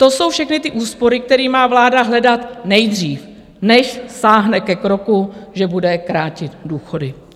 To jsou všechny ty úspory, které má vláda hledat nejdřív, než sáhne ke kroku, že bude krátit důchody.